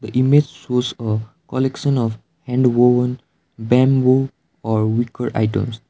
image shows a collection of hand woven bamboo or wicker items.